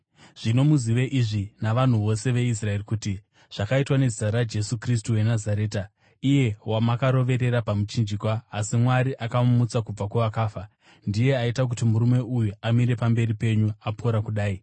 zvino muzive izvi, imi navanhu vose veIsraeri kuti: Zvakaitwa nezita raJesu Kristu weNazareta, iye wamakaroverera pamuchinjikwa asi Mwari akamumutsa kubva kuvakafa, ndiye aita kuti murume uyu amire pamberi penyu apora kudai.